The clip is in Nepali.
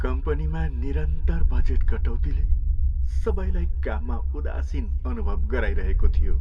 कम्पनीमा निरन्तर बजेट कटौतीले सबैलाई काममा उदासीन अनुभव गराइरहेको थियो।